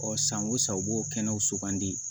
Ɔ san o san u b'o kɛnɛw sugandi